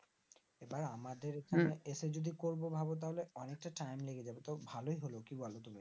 এবার আমাদের উম এখানে এসে যদি করবো ভাব তাহলে অনেকটা টাইম লেগে যাবে তো ভালোই হলো কি বলো তুমি